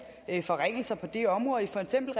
forringelser på det område for eksempel